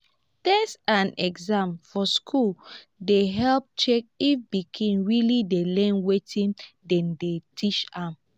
test and exam for school dey help check if pikin really dey learn wetin dem dey teach am.